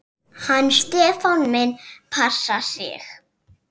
Hann Stefán minn passar sig.